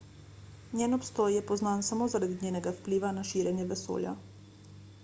njen obstoj je poznan samo zaradi njenega vpliva na širjenje vesolja